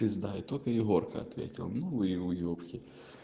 пизда и только егорка ответил ну и уебки